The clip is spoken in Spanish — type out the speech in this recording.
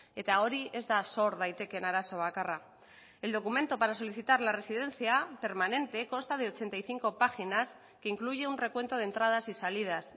eta hori ez da sor daitekeen arazo bakarra el documento para solicitar la residencia permanente consta de ochenta y cinco páginas que incluye un recuento de entradas y salidas